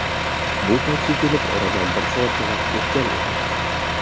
Bu paytga kelib oradan bir soatcha vaqt o‘tgan edi.